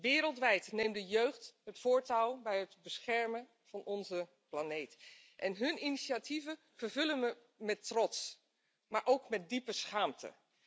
Wereldwijd neemt de jeugd het voortouw bij het beschermen van onze planeet en hun initiatieven vervullen me met trots, maar ook met diepe schaamte.